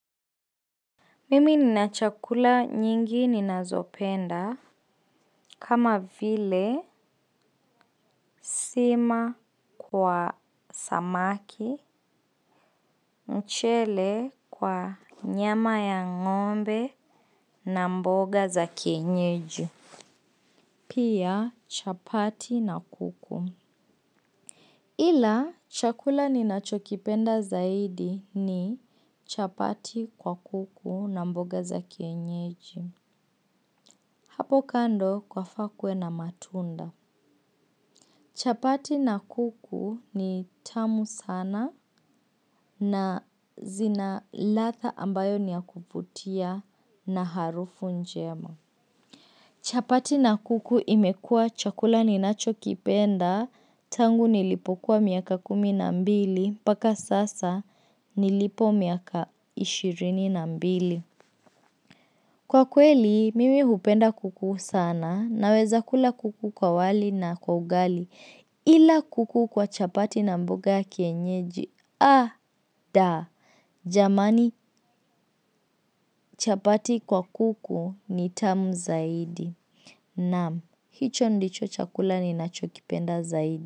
Mimi nina chakula nyingi ninazopenda kama vile sima kwa samaki, mchele kwa nyama ya ng'ombe na mboga za kienyeji. Pia chapati na kuku. Ila chakula ninachokipenda zaidi ni chapati kwa kuku na mboga za kienyeji. Hapo kando kwafaa kuwe na matunda. Chapati na kuku ni tamu sana na zina ladha ambayo ni ya kuvutia na harufu njema. Chapati na kuku imekuwa chakula ninacho kipenda, tangu nilipokuwa miaka kumi na mbili, mpaka sasa nilipo miaka ishirini na mbili. Kwa kweli, mimi hupenda kuku sana naweza kula kuku kwa wali na kwa ugali ila kuku kwa chapati na mboga ya kienyeji. Da! Jamani chapati kwa kuku ni tamu zaidi. Naam, hicho ndicho chakula ni nachokipenda zaidi.